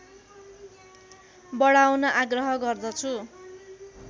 बढाउन आग्रह गर्दछु